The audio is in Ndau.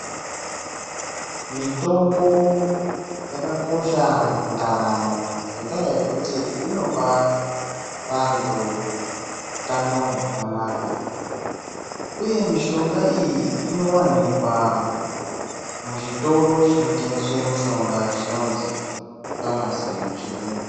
Mitombo yakakosha mundaramo ngenda yekuti inopa vantu hutano hwakanaka uye mishonga iyi unowanikwa muchitoro chinotengeswa mishonga chinonzi famasi nemuchirungu.